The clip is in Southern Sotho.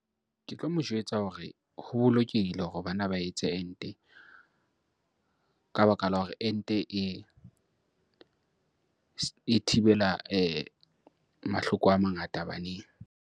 Ke tlo mo jwetsa hore ho bolokehile hore bana ba etse ente ka baka la hore ente e thibela mahloko a mangata baneng.